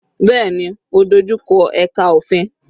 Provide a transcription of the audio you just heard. Bẹ́ẹ̀ni, ó dojú kọ ẹka òfin.